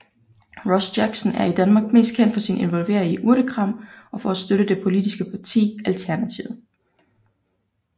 Ross Jackson er i Danmark mest kendt for sin involvering i Urtekram og for at støtte det politiske parti Alternativet